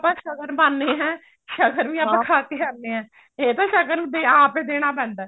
ਆਪਾਂ ਸ਼ਗਨ ਪਾਉਂਦੇ ਹਾਂ ਸ਼ਗਨ ਵੀ ਆਪਾਂ ਖਾ ਕੇ ਆਉਂਦੇ ਹਾਂ ਇਹ ਤਾਂ ਸ਼ਗਨ ਆਪ ਹੀ ਦੇਣਾ ਪੈਂਦਾ